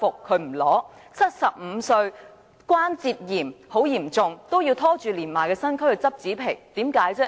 她75歲，患有嚴重關節炎，還要拖着年邁的身軀去拾紙皮，為甚麼？